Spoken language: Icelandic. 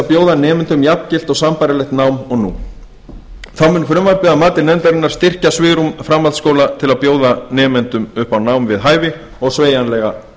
bjóða nemendum jafngilt og sambærilegt nám og nú þá mun frumvarpið að mati nefndarinnar styrkja svigrúm framhaldsskóla til að bjóða nemendum upp á nám við hæfi og sveigjanleika